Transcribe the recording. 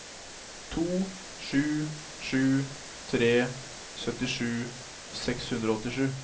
to sju sju tre syttisju seks hundre og åttisju